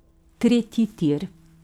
Tretji tir.